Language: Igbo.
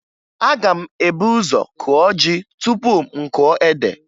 Aga m ebu ụzọ kụọ ji tupu m kụọ ede